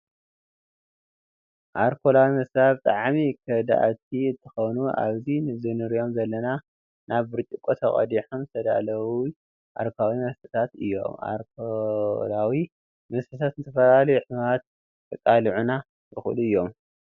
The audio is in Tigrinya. ኣርኮላዊ መስታት ብጣዕሚ ኮዳእቲ እትከውኑ ኣብዚ ዝንሪኦም ዘለና ናብ ብርጭቆ ተቀዲሖም ዝተዳለዊ ኣርኮላዊ መስተታት እዮም ።ኣርኮላዊ መስተታት ንዝተፈላለዩ ሕማማት ከቃሉዑና ይክእሉ እዩም።